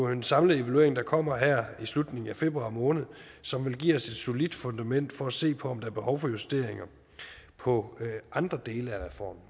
en samlet evaluering der kommer her i slutningen af februar måned som vil give os et solidt fundament for at se på om der er behov for justeringer på andre dele af reformen